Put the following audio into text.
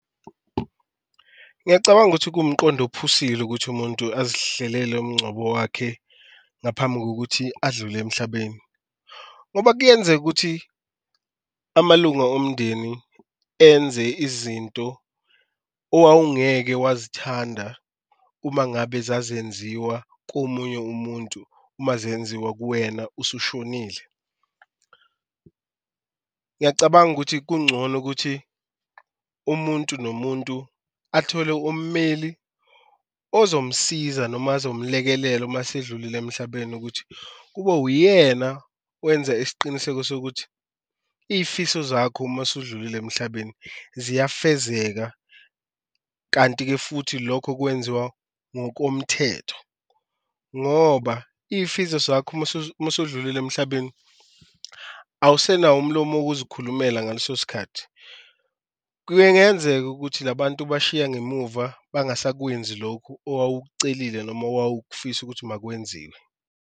Ngiyacabanga ukuthi kuwumqondo ophusile ukuthi umuntu azihlelele umncwabo wakhe ngaphambi kokuthi adlule emhlabeni, ngoba kuyenzeka ukuthi amalunga omndeni enze izinto owawungeke wazithanda uma ngabe zazenziwa komunye umuntu uma zenziwa kuwena usushonile. Ngiyacabanga ukuthi kuncono ukuthi umuntu nomuntu athole ummeli ozomsiza noma azomlekelela uma esedlulile emhlabeni ukuthi kube uyena wenza isiqiniseko sokuthi iy'fiso zakho, uma usudlulile emhlabeni ziyafezeka, kanti-ke futhi lokho kwenziwa ngokomthetho ngoba iy'fiso zakho uma usudlulile emhlabeni awusenawo umlomo wokuzikhulumela ngaleso sikhathi. Kungenzeka ukuthi la bantu obashiya ngemuva bangasakwenzi lokhu owawukucelile noma owawukufisa ukuthi makwenziwe.